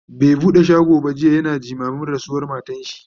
bai buɗe shago ba jiya, yana jimamin rasuwar matarshi